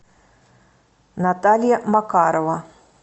наталья макарова